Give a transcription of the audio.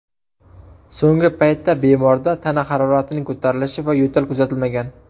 So‘nggi paytda bemorda tana haroratining ko‘tarilishi va yo‘tal kuzatilmagan.